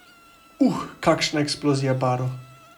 Uh, kakšna eksplozija barv!